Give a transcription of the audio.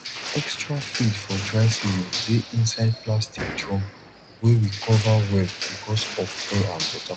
extra feed for dry season dey inside plastic drum wey we cover well because of air and water